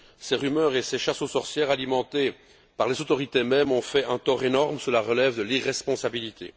Ces rumeurs et ces chasses aux sorcières alimentées par les autorités mêmes ont fait un tort énorme, cela relève de l'irresponsabilité.